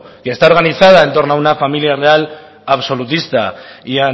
y está organizado por una familia real absolutista y